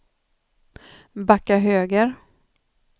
backa höger